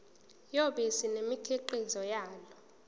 yobisi nemikhiqizo yalo